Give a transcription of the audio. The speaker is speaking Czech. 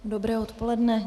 Dobré odpoledne.